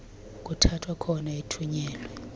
kuthathwa khona athunyelwe